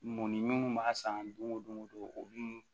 Mun ni mun b'a san don go don o don olu